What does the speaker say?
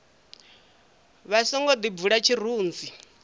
vha songo ḓi bvula tshirunzi